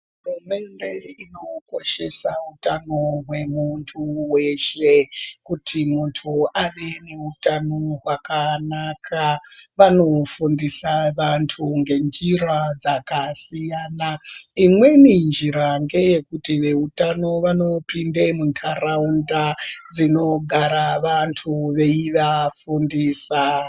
Hurumende inokoshese utano hwemuntu weshe. Kuti muntu ave neutano hwakanaka vanofundisa vantu ngenjira dzakasiyana. Imweni njira ngeyekuti veutano vanopinde muntaraunda dzinogara vantu veivafundisa.